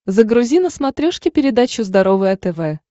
загрузи на смотрешке передачу здоровое тв